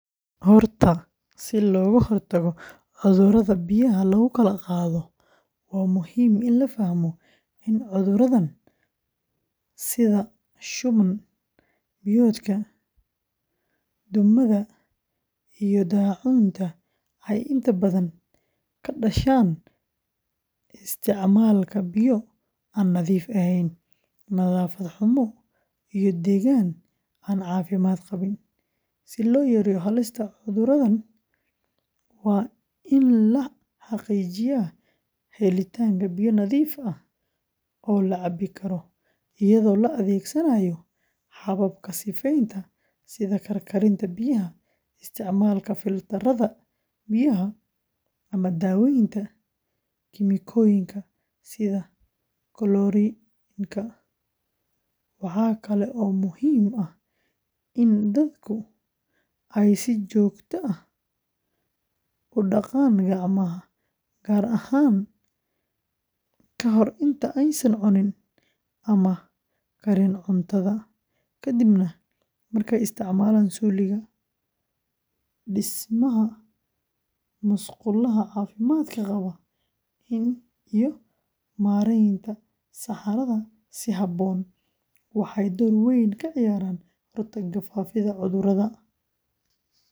Horta, si looga hortago cudurrada biyaha lagu kala qaado, waa muhiim in la fahmo in cudurradan sida shuban-biyoodka, duumada, iyo daacuunta ay inta badan ka dhashaan isticmaalka biyo aan nadiif ahayn, nadaafad xumo, iyo deegaan aan caafimaad qabin. Si loo yareeyo halista cudurradan, waa in la xaqiijiyaa helitaanka biyo nadiif ah oo la cabbi karo, iyadoo la adeegsanayo hababka sifeynta sida karkarinta biyaha, isticmaalka filtarrada biyaha, ama daaweynta kiimikooyinka sida koloriinka. Waxaa kale oo muhiim ah in dadku ay si joogto ah u dhaqaan gacmaha, gaar ahaan ka hor inta aysan cunin ama karin cuntada, kadibna markay isticmaalaan suuliga. Dhismaha musqulaha caafimaadka qaba iyo maaraynta saxarada si habboon waxay door weyn ka ciyaaraan kahortagga faafidda cudurrada.